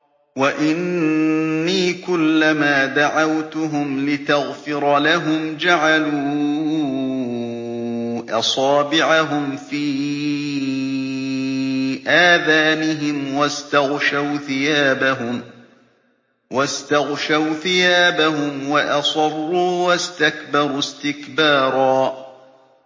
وَإِنِّي كُلَّمَا دَعَوْتُهُمْ لِتَغْفِرَ لَهُمْ جَعَلُوا أَصَابِعَهُمْ فِي آذَانِهِمْ وَاسْتَغْشَوْا ثِيَابَهُمْ وَأَصَرُّوا وَاسْتَكْبَرُوا اسْتِكْبَارًا